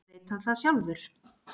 Veit hann það sjálfur?